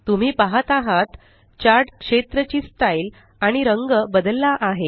तुम्ही पाहत आहात चार्ट क्षेत्र ची स्टाइल आणि रंग बदलला आहे